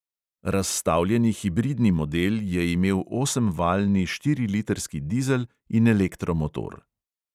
Razstavljeni hibridni model je imel osemvaljni štirilitrski dizel in elektromotor.